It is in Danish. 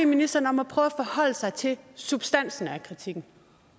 ministeren om at prøve at forholde sig til substansen i kritikken